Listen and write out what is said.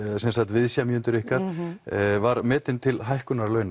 viðsemjendur ykkar var metin til hækkunar launa